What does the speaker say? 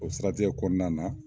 O siratgɛ kɔnɔna na.